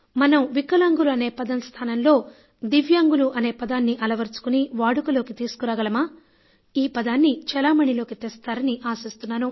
మనం వికలాంగులు అనే పదం స్థానంలో దివ్యాంగులు అనే పదాన్ని అలవరచుకొని వాడుకలోకి తీసుకురాగలమా ఈ పదాన్ని చెలామణిలోకి తెస్తారని ఆశిస్తున్నాను